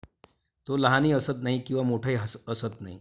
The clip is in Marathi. तो लहानही असत नाही किंवा मोठाही असत नाही.